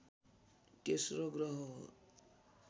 तेस्रो ग्रह हो